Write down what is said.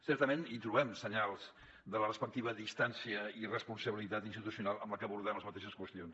certament hi trobem senyals de la respectiva distància i responsabilitat institucional amb la que abordem les mateixes qüestions